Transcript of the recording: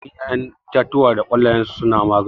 Yawancin ƴaƴan itatuwa da ƙwallayensu suna magani